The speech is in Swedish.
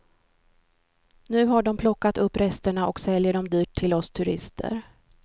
Nu har de plockat upp resterna och säljer dem dyrt till oss turister.